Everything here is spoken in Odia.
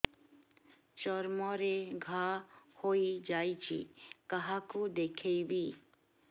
ଚର୍ମ ରେ ଘା ହୋଇଯାଇଛି କାହାକୁ ଦେଖେଇବି